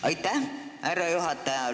Aitäh, härra juhataja!